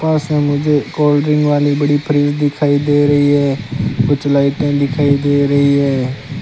पास है मुझे cold drink वाली बड़ी फ्रिज दिखाई दे रही है कुछ लाइटें दिखाई दे रही है।